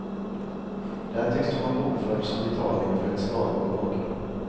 Där tycks de ha bokförts som betalning för ett skalbolag.